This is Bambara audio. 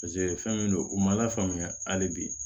fɛn min don u ma lafaamuya hali bi